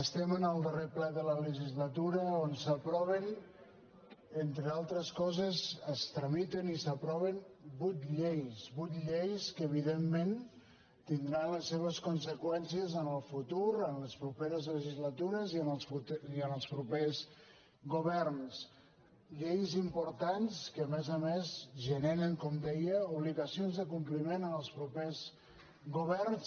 estem en el darrer ple de la legislatura en què s’aproven entre altres coses es tramiten i s’aproven vuit lleis vuit lleis que evidentment tindran les seves conseqüències en el futur en les properes legislatures i en els propers governs lleis importants que a més a més generen com deia obligacions de compliment en els propers governs